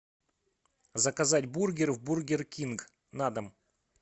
заказать бургер в бургер кинг на дом